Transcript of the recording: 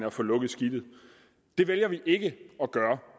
og få lukket skidtet det vælger vi ikke at gøre